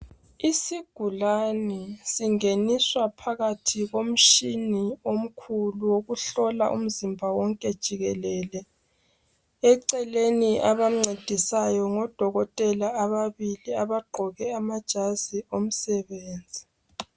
Isigulani singeniswa phakathi komshini omkhulu wokuhlola umzimba wonke jikelele, eceleni abamncedisayo ngodokotela ababili abagqoke amajazi omsebenzi.